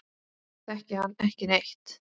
Þekki hann ekki neitt.